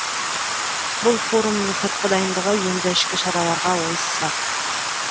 бұл форумның сыртқы дайындығы енді ішкі шараларға ойысақ